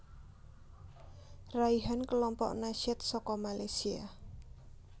Raihan Kelompok Nasyid saka Malaysia